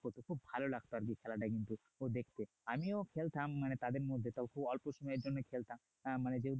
খুব ভালো লাগতো আরকি খেলাটা কিন্তু দেখতে আমিও খেলতাম মানে তাদের মধ্যে তাও খুব অল্প সময়ের জন্য খেলতাম আহ মানে